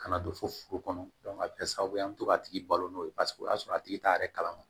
Kana don fo furu kɔnɔ a bɛ kɛ sababu ye an bɛ to ka tigi balo n'o ye paseke o y'a sɔrɔ a tigi t'a yɛrɛ kalama